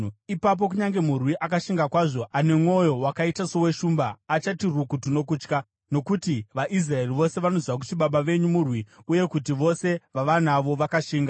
Ipapo kunyange murwi akashinga kwazvo, ane mwoyo wakaita soweshumba, achati rukutu nokutya, nokuti vaIsraeri vose vanoziva kuti baba venyu murwi uye kuti vose vavanavo vakashinga.